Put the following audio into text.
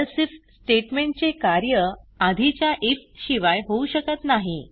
else if statement चे कार्य आधीच्या आयएफ शिवाय होऊ शकत नाही